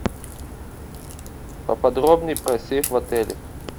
поподробнее про сейф в отеле